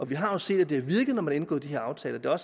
vi har set at det har virket når man har indgået de her aftaler